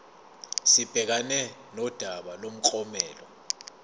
sibhekane nodaba lomklomelo